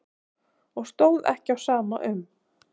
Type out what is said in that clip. Og stóð ekki á sama um.